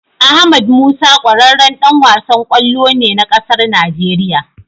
Ahmad musa kwararran Dan wasan kwallo ne na ƙasar Nigeria